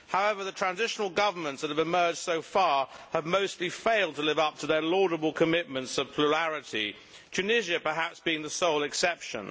However, the transitional governments that have emerged so far have mostly failed to live up to their laudable commitments to plurality, with Tunisia perhaps being the sole exception.